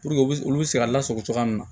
Puruke u bɛ olu bɛ se ka lasago cogoya min na